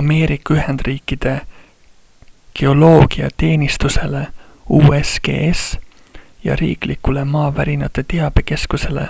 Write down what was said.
ameerika ühendriikide geoloogiateenistusele usgs ja riiklikule maavärinate teabekeskusele